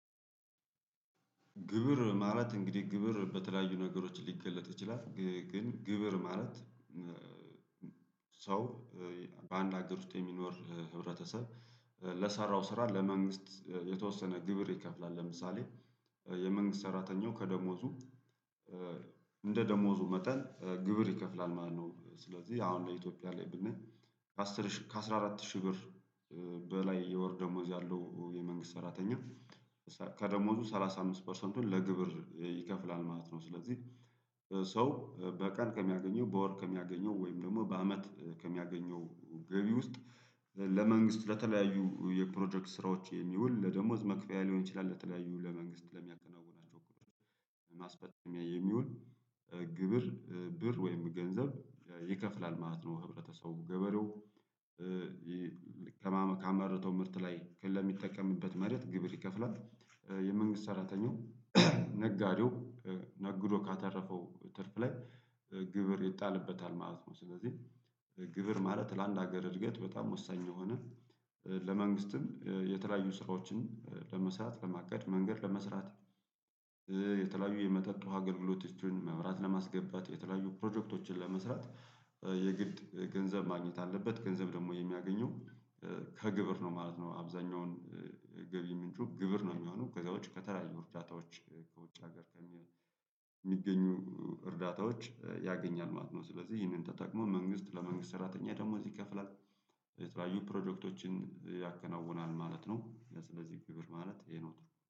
ግብር ማለት እንግዲህ ግብር በተለያዩ ነገሮች ሊገለጥ ይችላል። ግን ግብር ማለት ሰው በአንድ ሀገር ውስጥ የሚኖር ህብረተሰብ ለሰራው ስራ ለመንግስት የተወሰነ ግብር ይከፍላል። ለምሳሌ የመንግስት ሰራተኛው ከደሞዙ እንደ ደሞዙ መጠን ግብር ይከፍላል ማለት ነው። ስለዚህ አሁን ለኢትዮጵያ ላይ ብንል ከአስር ሺ ከአስራ አራት ሺህ ብር በላይ የወር ደሞዝ ያለው የመንግስት ሰራተኛ ከደሞዙ ሰላሳ አምስት ፐርሰንቱን ለግብር ይከፍላል ማለት ነው ስለዚህ ሰው በቀን ከሚያገኘው በወር ከሚያገኘው ወይም ደግሞ በአመት ከሚያገኘው ገቢ ውስጥ ለመንግስት ለተለያዩ የፕሮጀክት ስራዎች የሚውል ለደሞዝ መክፈያ ሊሆን ይችላል ለተለያዩ ለመንግስት ለሚያከናውናቸው ማስፈጠሚያ የሚውል ግብር ብር ወይም ገንዘብ ይከፍላል ማለት ነው ህብረተሰቡ ገበለው ከማመካ መርቶ ምርት ላይ ለሚጠቀምበት መሬት ግብር ይከፍላል የመንግስት ሰራተኛው ነጋዴው ነግዶ ካተረፈው ትርፍ ላይ ግብር ይጣልበታል ማለት ነው ስለዚህ ግብር ማለት ለአንድ ሀገር እድገት በጣም ወሳኝ የሆነ ለመንግስትም የተለያዩ ስራዎችን ለመስራት ለማቀድ መንገድ ለመስራት የተለያዩ የመጠጥ ውሃ ገልግሎቶችን፣ መብራት ለማስገባት፣ የተለያዩ ፕሮጀክቶችን ለመስራት የግድ ገንዘብ ማግኘት አለበት ገንዘብ ደግሞ የሚያገኘው ከግብር ነው ማለት ነው አብዛኛውን ገቢ ምንጩ ግብር ነው የሚሆነው ከዛውጭ ከተለያዩ እርዳታዎች ከውጭ ሀገር ከሚሆኑ የሚገኙ እርዳታዎች ያገኛል ማለት ነው ስለዚህ ይህንን ተጠቅሞ መንግስት ለመንግስት ሰራተኛ ደሞዝ ይከፍላል የተለያዩ ፕሮጀክቶችን ያከናውናል ማለት ነው ለስለዚህ ግብር ማለት ይሄ ነው ትርጉሙ።